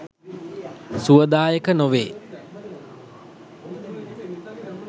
සුවදායක නොවේ.